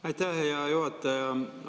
Aitäh, hea juhataja!